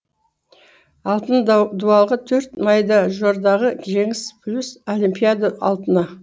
алтын дуалға төрт мэйдажордағы жеңіс плюс олимпиада алтыны